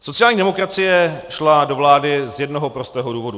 Sociální demokracie šla do vlády z jednoho prostého důvodu.